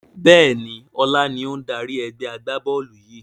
Bẹ́ẹ̀ni, ọlá ni ó ń dárí ẹgbẹ́ agbá-bọ́ọ́lù yìi